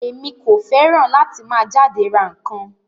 Emi ko fẹràn láti máa jáde rà nkan.